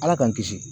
Ala k'an kisi